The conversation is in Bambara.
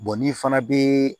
n'i fana bɛ